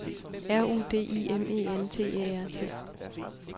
R U D I M E N T Æ R T